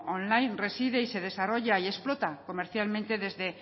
online reside se desarrolla y explota comercialmente desde